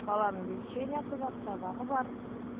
баламның лечениясы бар сабағы бар